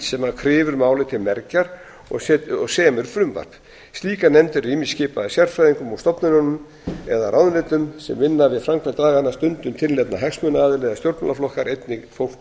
sem kryfur málið til mergjar og semur frumvarp slíkar nefndir eru ýmist skipaðar sérfræðingum úr stofnunum eða ráðuneytum sem vinna við framkvæmd laganna stundum tilnefna hagsmunaaðilar eða stjórnmálaflokkar einnig fólk